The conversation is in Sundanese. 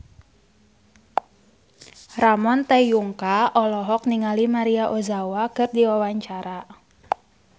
Ramon T. Yungka olohok ningali Maria Ozawa keur diwawancara